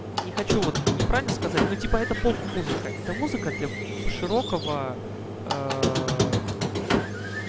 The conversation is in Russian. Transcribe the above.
не хочу вот неправильно сказать ну типа это поп-музыка это музыка для широкого